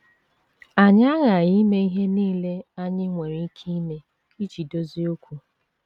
Anyị aghaghị ime ihe nile anyị nwere ike ime iji dozie okwu.